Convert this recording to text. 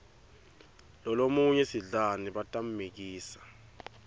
lolomunye sidlani batammikisa